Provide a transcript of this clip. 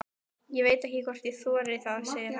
Ég veit ekki hvort ég þori það, segir hann.